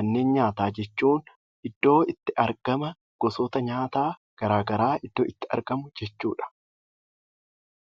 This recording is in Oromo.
Manneen nyaataa jechuun iddoo itti argama gosoota nyaataa garaa garaa iddoo itti argamu jechuu dha.